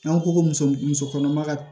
An ko ko muso muso kɔnɔma ka